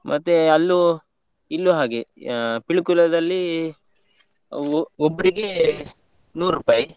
ಮತ್ತೆ ಅಲ್ಲೂ ಇಲ್ಲೂ ಹಾಗೆ, ಆ Pilikula ದಲ್ಲಿ ಒ~ ಒಬ್ರಿಗೇ, ನೂರುಪಾಯಿ.